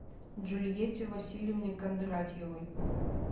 джульетте васильевне кондратьевой